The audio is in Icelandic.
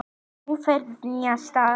Nú ferðu á nýjan stað.